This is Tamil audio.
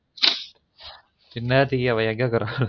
இன்னேரத்துக்கு அவ எங்கிருகக்குறானோ